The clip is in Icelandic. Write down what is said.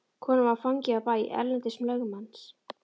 Konan var fangi á bæ Erlends lögmanns.